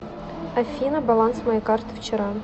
афина баланс моей карты вчера